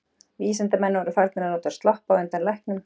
Vísindamenn voru farnir að nota sloppa á undan læknum.